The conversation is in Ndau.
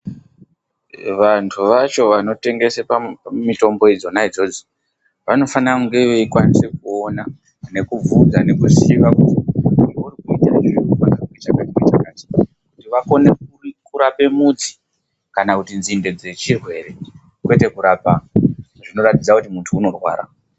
Vantu vacho vanotengese mitombo idzona idzodzo vanofana kunge veikwanisa kuona, kubvunza nekuziya zveurukuita unofana kunge une chakati nechakati kuti vakone kurape mudzi kana kuti nzinde dzechirwere kwete kurapa zvinokhombidza kuti munhu unorwara.